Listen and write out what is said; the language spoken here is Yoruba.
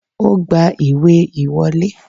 O gba ìwé ìwọlé